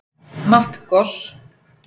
Matt Goss